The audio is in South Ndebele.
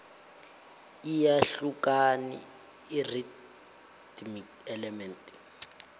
iyahlukani irhythm element